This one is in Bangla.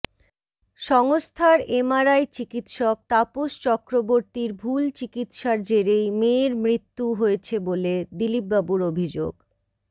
সংস্থার এমআরআই চিকিৎসক তাপস চক্রবর্তীর ভুল চিকিৎসার জেরেই মেয়ের মৃত্যু হয়েছে বলে দিলীপবাবুর অভিযোগ